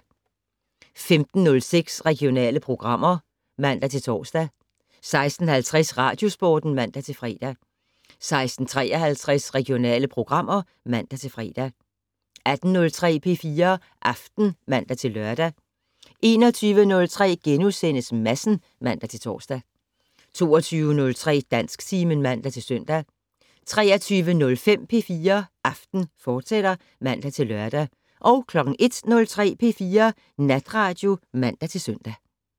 15:06: Regionale programmer (man-tor) 16:50: Radiosporten (man-fre) 16:53: Regionale programmer (man-fre) 18:03: P4 Aften (man-lør) 21:03: Madsen *(man-tor) 22:03: Dansktimen (man-søn) 23:05: P4 Aften, fortsat (man-lør) 01:03: P4 Natradio (man-søn)